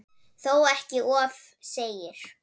Þó ekki um of segir